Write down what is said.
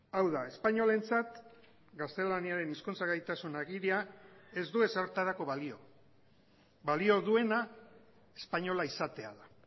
hau da espainolentzat gaztelaniaren hizkuntza gaitasun agiria ez du ezertarako balio balio duena espainola izatea da